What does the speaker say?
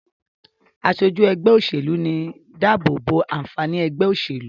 aṣojú ègbé òṣèlú ní dàbobo ànfàní ègbé òṣèlú.